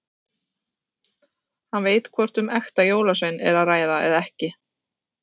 Hann veit hvort um ekta jólasvein er að ræða eða ekki.